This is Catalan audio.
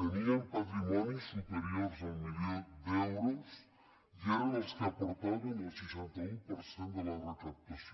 tenien patrimonis superiors al milió d’euros i eren els que aportaven el seixanta un per cent de la recaptació